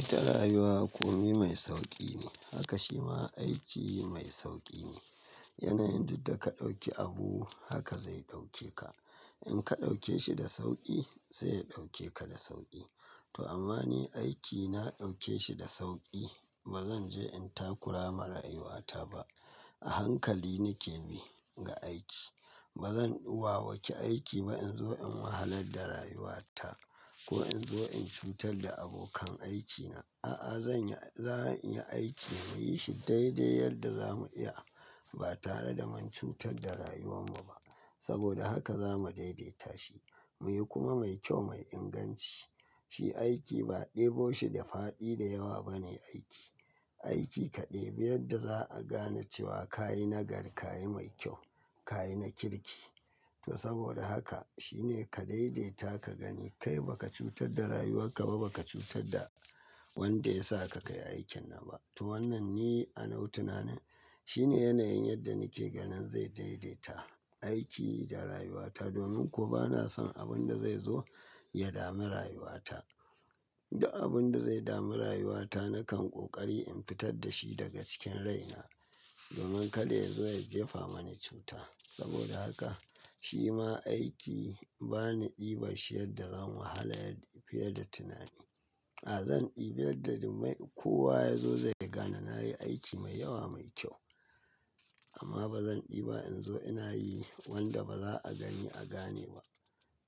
Ita rayuwa kome mai sauƙi ne, haka shi ma aiki mai sauƙi ne. Yanayin duk da ka ɗauki abu haka zai ɗauke ka. In ka ɗauke shi da sauƙi sai ya ɗauke ka da sauƙi. To amma ni aikina na ɗauke shi da sauƙi. In ka ɗauke shi da sauƙi sai ya ɗauke ka da sauƙi. A hankali nake bi ga aiki. Ba zan wawaki aiki ba in zo in wahalar da rayuwata ko in zo in cutar da abokan aikina. A'a zan yi, zan iya aiki muyi shi daidai yadda zamu iya ba tare da mun cutar da rayuwar mu ba. Saboda haka zamu daidaita shi muyi kuma mai kyau, mai inganci. Shi aiki ba ɗebo shi da faɗi da yawa ba ne aiki. Aiki ka ɗebi yadda za a gane cewa ka yi nagari, ka yi mai kyau, ka yi na kirki. To saboda haka shine ka daidaita ka gani kai baka cutar da rayuwar ka ba, baka cutar da wanda ya sa ka kai aikin nan ba. To wannan ne a nawa tunanen shine yanayin yadda nake ganin zai daidaita aiki da rayuwata. Domin kuwa bana son abin da zai zo ya dami rayuwata. Duk abin da zai dami rayuwata nakan ƙoƙari in fitar da shi daga cikin rai na. Domin kada ya zo ya jefa mani cuta. Saboda haka shi ma aiki bani ɗiban shi yadda zan wahala fiye da tunani. A'a zan ɗibi yadda duk mai kowa ya zo zai gane na yi aiki mai yawa, mai kyau. Amma ba zan ɗiba in zo ina yi wanda ba za a gani a gane ba.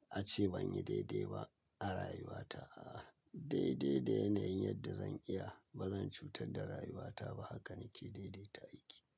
A ce ban yi daidai ba a rayuwata. A'a daidai da yanayin yadda zan iya. Ba zan cutar da rayuwata ba. Haka nake daidaita aiki.